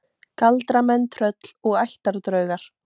Galdramenn, tröll og ættardraugar